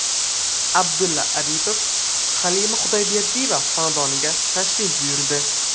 Abdulla Aripov Halima Xudoyberdiyeva xonadoniga tashrif buyurdi.